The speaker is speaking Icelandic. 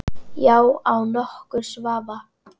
Já, án nokkurs vafa.